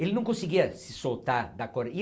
Ele não conseguia se soltar da